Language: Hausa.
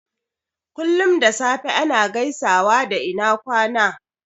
Kullum da safe ana gaisawa da "ina kwana"